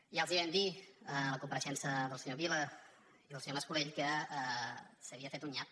ja els ho vam dir a la compareixença del senyor vila i el senyor mas colell que s’havia fet un nyap